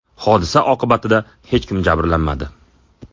Hodisa oqibatida hech kim jabrlanmadi.